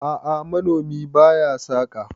a'a manomi ba ya saka